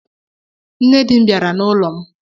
Nne dị m bịara n'ụlọ m